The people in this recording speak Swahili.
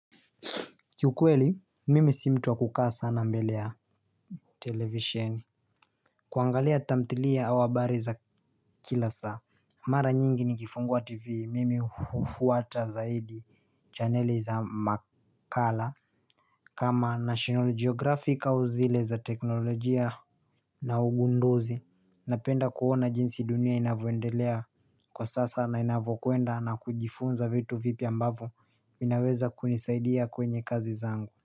Kiukweli, mimi simtua kukaa sana mbelea televisioni kuangalia tamtilia habari za kila saa Mara nyingi ni kifungua tv mimi hufuata zaidi chaneli za makala kama National Geographic au zile za teknolojia na ugundozi Napenda kuhona jinsi dunia inavwendelea kwa sasa na inavokuenda na kujifunza vitu vipi ambavu inaweza kunisaidia kwenye kazi zangu.